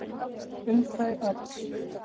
Um þau öll.